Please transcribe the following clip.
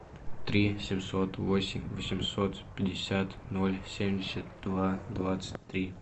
три семьсот восемь восемьсот пятьдесят ноль семьдесят два двадцать три